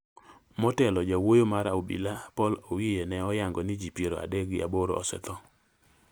Motelo, jawuoyo mar obila, Paul Owiye ne oyango ni ji piero adek gi aboro osetho,